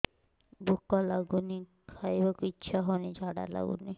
ଭୁକ ଲାଗୁନି ଖାଇତେ ଇଛା ହଉନି ଝାଡ଼ା ଲାଗୁନି